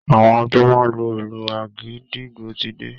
Àwọn tó máa lu ìlù àgídìgbo ti dé